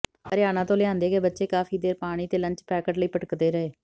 ਹਰਿਆਣਾ ਤੋਂ ਲਿਆਂਦੇ ਗਏ ਬੱਚੇ ਕਾਫੀ ਦੇਰ ਪਾਣੀ ਤੇ ਲੰਚ ਪੈਕਟ ਲਈ ਭਟਕਦੇ ਰਹੇ